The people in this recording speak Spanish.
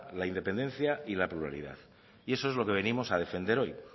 la independencia y la pluralidad y eso es lo que venimos a defender hoy